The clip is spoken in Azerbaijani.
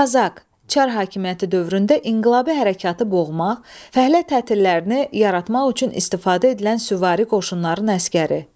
Kazak, Çar hakimiyyəti dövründə inqilabi hərəkatı boğmaq, fəhlə tətillərini yaratmaq üçün istifadə edilən süvari qoşunların əsgəri.